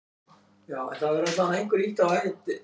Þessi Leifur.